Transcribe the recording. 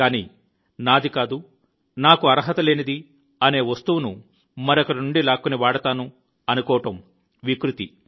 కానీ నాది కాదు నాకు అర్హత లేనిది అనే వస్తువును మరొకరి నుండి లాక్కొని వాడతాను అనుకోవడం వికృతి